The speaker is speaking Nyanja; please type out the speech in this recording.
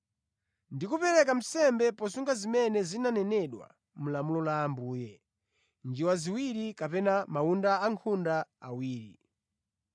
ndi kupereka nsembe posunga zimene zinanenedwa mulamulo la Ambuye: “Njiwa ziwiri kapena mawunda ankhunda awiri.”